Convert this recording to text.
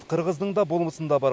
қырғыздың да болмысында бар